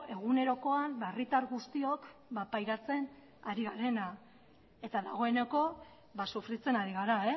egunerokoan herritar guztiok pairatzen ari garena eta dagoeneko sufritzen ari gara